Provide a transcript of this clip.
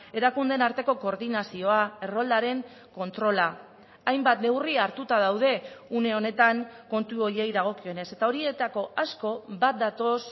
erakundeen arteko koordinazioa erroldaren kontrola hainbat neurri hartuta daude une honetan kontu horiei dagokionez eta horietako asko bat datoz